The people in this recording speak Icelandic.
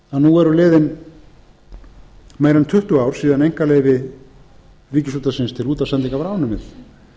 nú eru liðin meira en tuttugu ár síðan að einkaleyfi ríkisútvarpsins til útvarpssendinga var afnumið